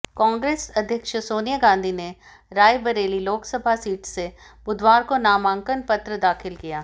कांग्रेस अध्यक्ष सोनिया गांधी ने रायबरेली लोकसभा सीट से बुधवार को नामांकन पत्र दाखिल किया